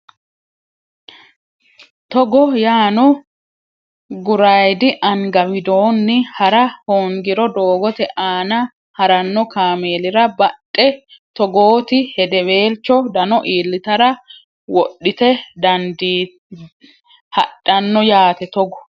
Togo yaano gurayidi anga widoonni ha ra hoongiro doogote aana ha ranno kaameelira badhe toogooti hedeweelcho dano iillitara wodhite hadhanno yaate Togo.